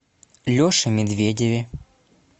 леше медведеве